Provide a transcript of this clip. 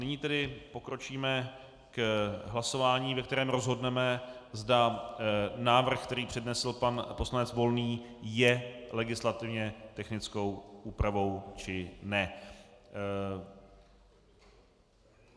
Nyní tedy pokročíme k hlasování, ve kterém rozhodneme, zda návrh, který přednesl pan poslanec Volný, je legislativně technickou úpravou, či ne.